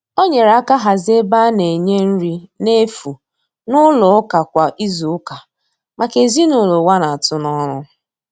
O nyere aka hazie ebe a na-enye nri na efu n'ụlọ ụka kwa izuụka maka ezinụlọ ụwa na-atụ n'ọnụ.